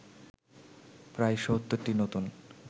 প্রায় ৭০টি নতুন